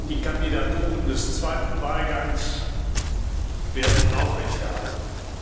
Die Kandidaturen des zweiten Wahlganges werden aufrechterhalten.